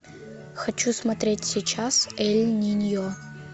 хочу смотреть сейчас эль ниньо